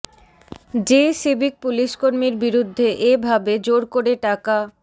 যে সিভিক পুলিশকর্মীর বিরুদ্ধে এ ভাবে জোর করে টাকা